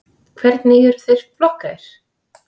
Hvernig eru þeir flokkaðir?